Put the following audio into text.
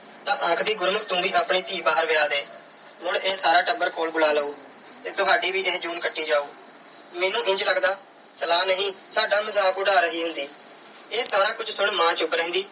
ਤਾਂ ਆਖਦੀ ਗੁਰਮੁਖ ਤੂੰ ਵੀ ਆਪਣੀ ਧੀ ਬਾਹਰ ਵਿਆਹ ਦੇ। ਮੁੜ ਇਹ ਸਾਰਾ ਟੱਬਰ ਕੋਲ ਬੁਲਾ ਲਊ ਤੇ ਤੁਹਾਡੀ ਵੀ ਇਹ ਜੂਨ ਕੱਟੀ ਜਾਊ। ਮੈਨੂੰ ਇੰਝ ਲੱਗਦਾ ਸਲਾਹ ਨਹੀਂ ਸਾਡਾ ਮਜ਼ਾਕ ਉਡਾ ਰਹੀ ਹੁੰਦੀ। ਇਹ ਸਾਰਾ ਕੁਝ ਸੁਣ ਮਾਂ ਚੁੱਪ ਰਹਿੰਦੀ